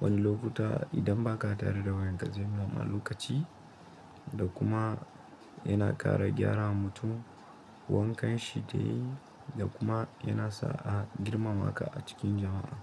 wani lokuta idan ba ka tare da wayanka zai nuna ma lokaci da kuma yana ƙara gyara mutum wankan shi dai da kuma yana sa a girmama ka a cikin jama'a.